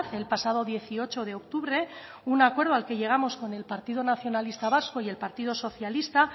el pasado dieciocho de octubre un acuerdo al que llegamos con el partido nacionalista vasco y el partido socialista